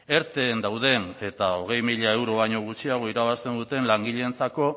erten dauden eta hogei mila euro baino gutxiago irabazten duten langileentzako